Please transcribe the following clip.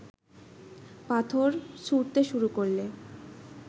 পাথর ছুঁড়তে শুরু করলে